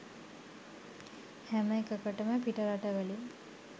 හැම එකකටම පිට රටවලින්